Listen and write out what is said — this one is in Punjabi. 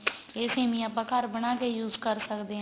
ਇਹ ਸੇਮੀਆਂ ਆਪਾਂ ਘਰ ਬਣਾ ਦੇ use ਕਰ ਸਕਦੇ ਆ